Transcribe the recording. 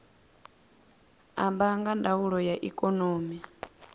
amba nga ndaulo ya ikonomi